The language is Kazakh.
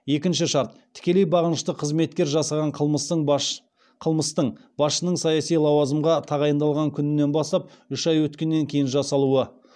екінші шарт тікелей бағынышты қызметкер жасаған қылмыстың басшының саяси лауазымға тағайындалған күнінен бастап үш ай өткеннен кейін жасалуы